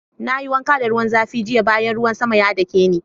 Na yi wanka da ruwan zafi jiya bayan ruwan sama ya dake ni.